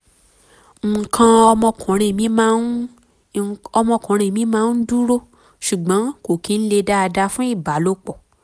nǹkan ọmọkuùnrin mi máa ọmọkuùnrin mi máa um ń dúró ṣùgbọ́n um kò kí ń le um dáadáa fún ìbálòpọ̀